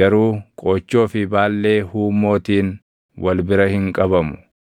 garuu qoochoo fi baallee huummootiin wal bira hin qabamu.